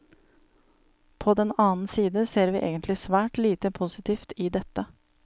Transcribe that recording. På den annen side ser vi egentlig svært lite positivt i dette.